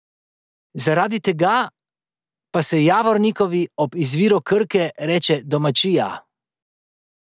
Zaradi tega pa se Javornikovi ob izviru Krke reče domačija!